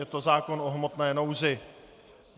Je to zákon o hmotné nouzi.